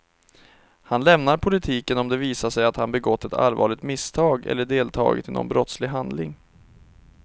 Han lämnar politiken om det visar sig att han begått ett allvarligt misstag eller deltagit i någon brottslig handling.